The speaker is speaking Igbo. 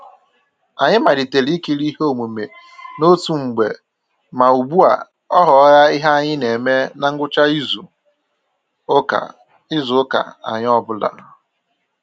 Anyị malitere ikiri ihe omume n'otu mgbe ma ugbu a ọ ghọla ihe anyị na eme na ngwụcha izu ụka izu ụka anyị ọ bụla